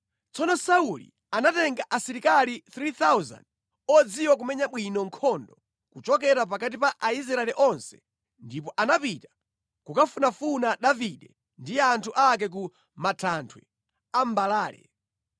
Tsono Sauli anatenga asilikali 3,000 odziwa kumenya bwino nkhondo kuchokera pakati pa Aisraeli onse ndipo anapita kukafunafuna Davide ndi anthu ake ku Matanthwe a Mbalale.